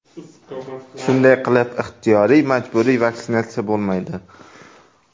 Shunday qilib, ixtiyoriy-majburiy vaksinatsiya bo‘lmaydi.